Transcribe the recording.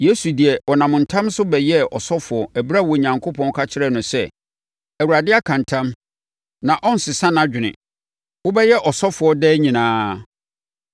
Yesu deɛ, ɔnam ntam so bɛyɛɛ ɔsɔfoɔ ɛberɛ a Onyankopɔn ka kyerɛɛ no sɛ, “Awurade aka ntam; na ɔrensesa nʼadwene: ‘Wobɛyɛ ɔsɔfoɔ daa nyinaa.’ ”